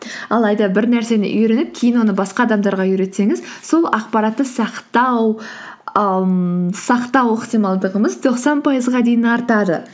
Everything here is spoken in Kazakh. алайда бір нәрсені үйреніп кейін оны басқа адамдарға үйретсеңіз сол ақпаратты ммм сақтау ықтималдығымыз тоқсан пайызға дейін артады